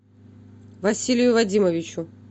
василию вадимовичу